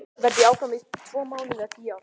Verð ég áfram í tvo mánuði eða tíu ár?